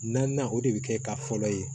Naaninan o de bɛ kɛ ka fɔlɔ ye